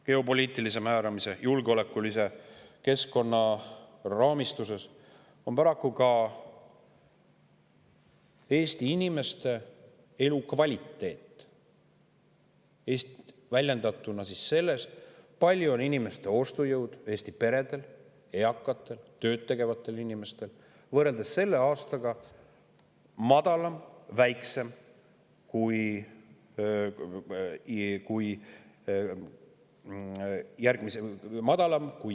Geopoliitilise määramise ja julgeolekukeskkonna raamistuses on ka Eesti inimeste elukvaliteet – see väljendub selles, milline ostujõud on Eesti peredel, eakatel, tööd tegevatel inimestel – järgmisel aastal võrreldes selle aastaga madalam.